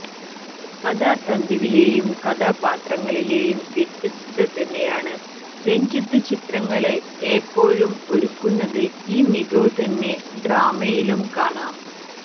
കഥാ തന്തുവിലേയും കഥാപാത്രങ്ങളിലേയും വ്യത്യസ്തത തന്നെയാണ് രഞ്ജിത്ത് ചിത്രങ്ങള് ഏപ്പോഴും ഒരുക്കുന്നത് ഈ മികവ് തന്നെ ഡ്രാമയിലും കാണാം